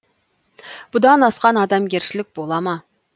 бұдан асқан адамгершілік бола ма